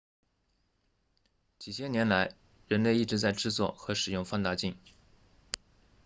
几千年来人类一直在制作和使用放大镜